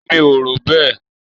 Èmi ò rò bẹ́ẹ.